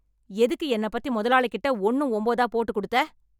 எதுக்கு என்னப் பத்தி முதலாளி கிட்ட ஒன்னும் ஒம்போதா போட்டுக் குடுத்த?